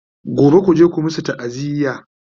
gobe kuje ku masu ta'aziya!